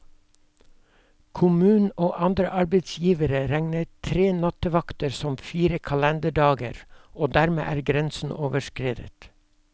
Kommunen og andre arbeidsgivere regner tre nattevakter som fire kalenderdager, og dermed er grensen overskredet.